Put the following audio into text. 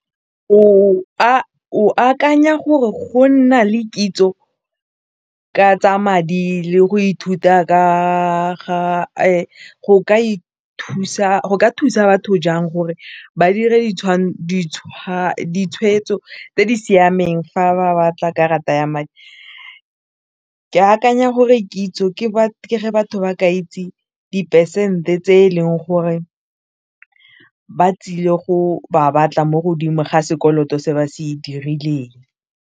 O a akanya gore go nna le kitso ka tsa madi le go ithuta ka ga go ka thusa batho jang gore ba dire ditshwetso tse di siameng fa ba batla karata ya ke akanya gore kitso ke batho ba ka itse di-percent-e tse e leng gore ba tsile go ba batla mo godimo ga sekoloto se ba se dirileng.